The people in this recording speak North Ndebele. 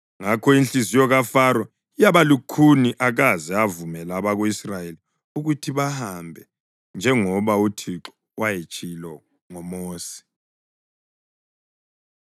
Ngakho inhliziyo kaFaro yaba lukhuni akaze avumela abako-Israyeli ukuthi bahambe njengoba uThixo wayetshilo ngoMosi.